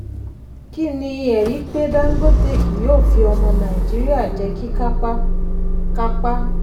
kí ni ẹ̀rí pé dangote kì yóò fi ọmọ nàìjíríà jẹ́ kíkápá-kápá?